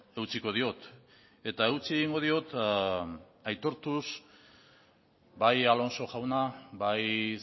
eutsiko diot eta eutsi egingo diot aitortuz bai alonso jauna bai